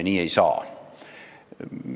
Nii ei saa.